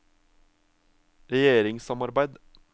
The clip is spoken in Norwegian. regjeringssamarbeid